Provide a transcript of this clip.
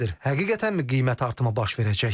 Həqiqətənmi qiymət artımı baş verəcək?